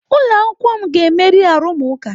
Ụlọ akwụkwọ m ga-emeri arụmụka.